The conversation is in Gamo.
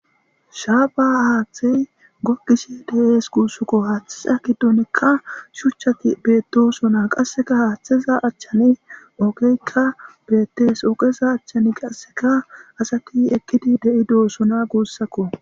Shaaba haaththey gokkishe deees guussukko haaththe akidonikka shuchchati beettosona qasseka haaththeza achchani ogeykka bettees ooqeza achchani qasseka asati ekkidi de7i doosona guussakko.